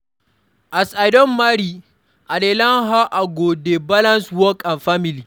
As I don marry, I dey learn how I go dey balance work and family